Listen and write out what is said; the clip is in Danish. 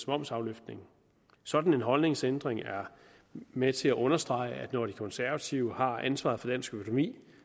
momsafløftning sådan en holdningsændring er med til at understrege at når de konservative har ansvaret for dansk økonomi